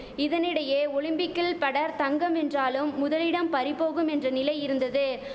இதனிடையே ஒலிம்பிக்கில் பெடர் தங்கம் வென்றாலும் முதலிடம் பறிபோகும் என்ற நிலை இருந்தது